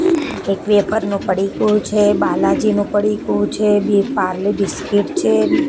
એક વેફર નું પડીકું છે બાલાજીનું પડીકું છે બે પારલે બિસ્કીટ છે.